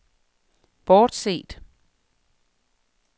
bortset